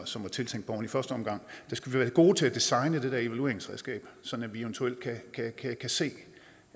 som var tiltænkt dem i første omgang vi skal være gode til at designe det der evalueringsredskab så vi eventuelt kan kan se